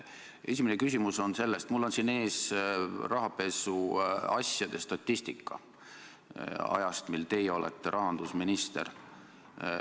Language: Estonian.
Esimene küsimus on selle kohta, et mul on siin ees rahapesuasjade statistika ajast, kui teie olete olnud rahandusminister.